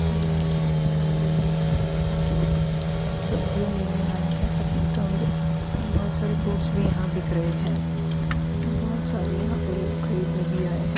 यह एक सब्जी मंडी लग रही है जहां पे बहुत लोग सब्जियां लेने आए हैं पपीता और बहुत सारे फ्रूट्स भी यहां बिक रहें हैं और बहुत सारे यहां पे लोग खरीदने भी आये हैं।